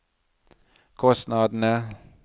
kostnadene